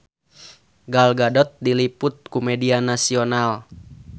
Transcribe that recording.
Gal Gadot diliput ku media nasional